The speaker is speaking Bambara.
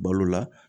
Balo la